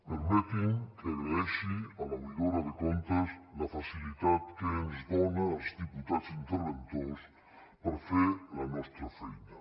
permetin me que agraeixi a l’oïdora de comptes la facilitat que ens dona als diputats interventors per fer la nostra feina